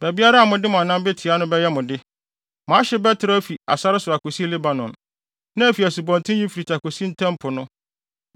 Baabiara a mode mo anan betia no bɛyɛ mo de. Mo ahye bɛtrɛw afi sare so akosi Lebanon, na afi Asubɔnten Eufrate akosi Ntam Po no.